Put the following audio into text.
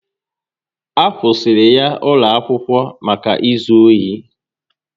A kwusiri ya ụlọ akwụkwọ maka ịzụ ohi